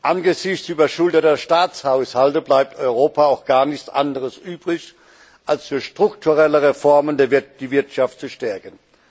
Angesichts überschuldeter Staatshaushalte bleibt Europa auch gar nichts anderes übrig, als durch strukturelle Reformen die Wirtschaft zu stärken.